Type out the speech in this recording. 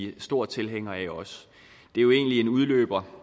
er store tilhængere af det er jo egentlig en udløber